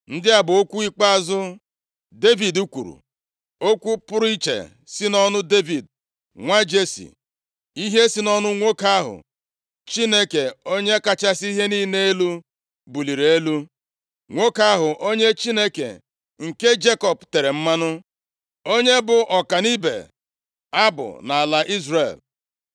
Ndị a bụ okwu ikpeazụ Devid kwuru: “Okwu pụrụ iche si nʼọnụ Devid, nwa Jesi, ihe si nʼọnụ nwoke ahụ Chineke Onye kachasị ihe niile elu buliri elu. Nwoke ahụ onye Chineke nke Jekọb tere mmanụ, onye bụ ọka nʼịbụ abụ nʼala Izrel.